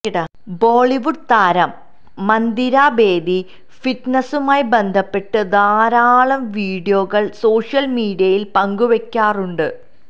ബോളിവുഡ് താരം മന്ദിര ബേദി ഫിറ്റ്നസുമായി ബന്ധപ്പെട്ട് ധാരാളം വീഡിയോകൾ സോഷ്യൽ മീഡിയയിൽ പങ്കുവയ്ക്കാറുണ്ട്